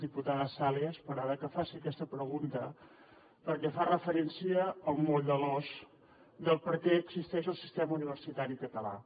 diputada sales m’agrada que faci aquesta pregunta perquè fa referència al moll de l’os de per què existeix el sistema universitari català